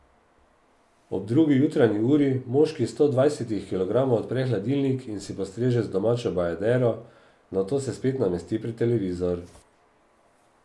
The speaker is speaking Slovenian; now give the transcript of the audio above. Ob drugi jutranji uri moški sto dvajsetih kilogramov odpre hladilnik in si postreže z domačo bajadero, nato se spet namesti pred televizor.